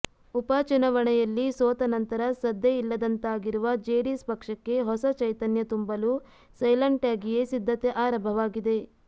ಉಪಚುನಾವಣೆಯಲ್ಲಿ ಸೋತ ನಂತರ ಸದ್ದೇ ಇಲ್ಲದಂತಾಗಿರುವ ಜೆಡಿಎಸ್ ಪಕ್ಷಕ್ಕೆ ಹೊಸ ಚೈತನ್ಯ ತುಂಬಲು ಸೈಲೆಂಟಾಗಿಯೇ ಸಿದ್ದತೆ ಆರಂಭವಾಗಿದೆ